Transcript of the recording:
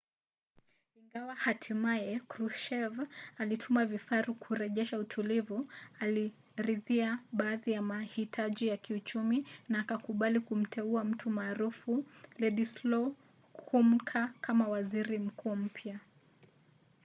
ingawa hatimaye kruschev alituma vifaru kurejesha utulivu aliridhia baadhi ya mahitaji ya kiuchumi na akakubali kumteua mtu maarufu wladyslaw gomulka kama waziri mkuu mpya